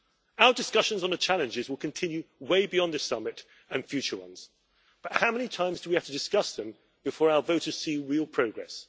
Our discussions on the challenges will continue way beyond this Summit and future ones, but how many times do we have to discuss them before our voters see real progress?